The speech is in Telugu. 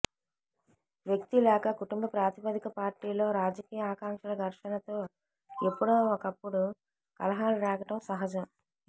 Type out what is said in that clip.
వ్యక్తి లేక కుటుంబ ప్రాతిపదిక పార్టీలో రాజకీయ ఆకాంక్షల ఘర్షణతో ఎప్పుడో ఒకప్పుడు కలహాలురేగటం సహజం